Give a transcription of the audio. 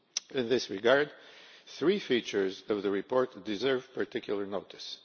In this regard, three features of the report deserve particular notice.